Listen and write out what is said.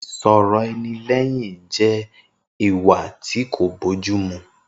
Isọ rọ ẹni lẹyìn je ìwà tí kò bọ jù mú.